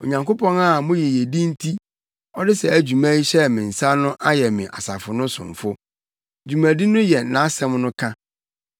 Onyankopɔn a mo yiyedi nti ɔde saa dwuma yi hyɛɛ me nsa no ayɛ me asafo no somfo. Dwumadi no yɛ nʼasɛm no ka,